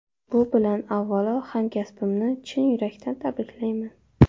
Bu bilan avvalo hamkasbimni chin yurakdan tabriklayman.